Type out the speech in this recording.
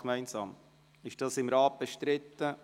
Ist dies seitens des Rats bestritten?